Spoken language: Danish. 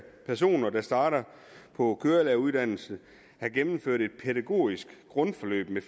personer der starter på kørelæreruddannelsen have gennemført et pædagogisk grundforløb med